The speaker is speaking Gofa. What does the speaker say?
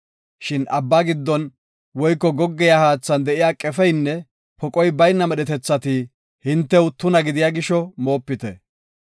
Shin abba giddon woyko goggiya haathan de7iya qefeynne poqoy bayna medhetethati hintew tuna gidiya gisho moopite.